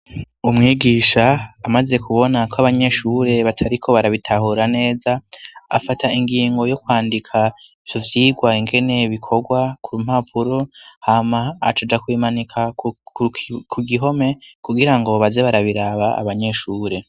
Umwigisha amaze kubona ko abanyeshure batariko barabitahura neza, afata ingingo yo kwandika ivyo vyigwa ingene bikorwa ku mpapuro, hama acaja kubimanika ku gihome kugira ngo baze barabiraba abanyeshure.